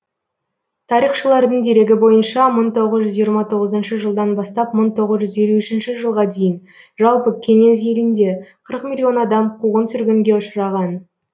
тарихшылардың дерегі бойынша мың тоғыз жүз жиырма тоғызыншы жылдан бастап мың тоғыз жүз елу үшінші жылға дейін жалпы кеңес елінде қырық миллион адам қуғын сүргінге ұшыраған